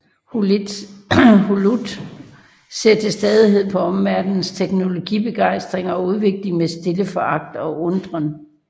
Hulot ser til stadighed på omverdenens teknologibegejstring og udvikling med stille foragt og undren